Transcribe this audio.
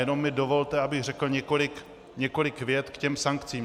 Jenom mi dovolte, abych řekl několik vět k těm sankcím.